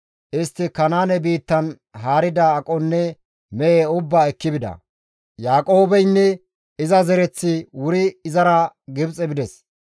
Istti Kanaane biittan haarida aqonne mehe ubbaa ekki bida. Yaaqoobeynne iza zereththi wuri izara Gibxe bides.